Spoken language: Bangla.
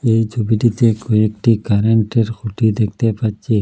এই ছবিটিতে কয়েকটি কারেন্টের খুঁটি দেখতে পাচ্ছি।